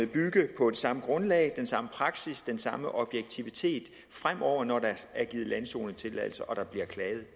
bygge på det samme grundlag den samme praksis den samme objektivitet fremover når der er givet landzonetilladelser og der bliver klaget i